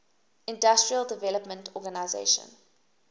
industrial development organization